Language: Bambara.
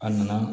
A nana